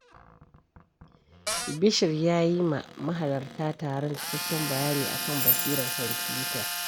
Bashir ya yi wa mahalarta taron cikakken bayani a kan basirar kwamfuta.